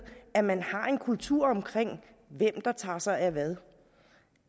at man har en kultur for hvem der tager sig af hvad